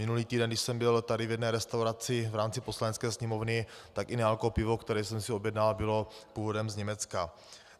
Minulý týden, když jsem byl tady v jedné restauraci v rámci Poslanecké sněmovny, tak i nealko pivo, které jsem si objednal, bylo původem z Německa.